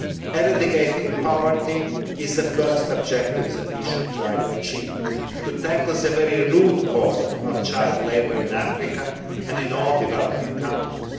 Eradicating poverty is the first objective that we should try to achieve tackling the root cause of child labour in Africa and in all developing countries.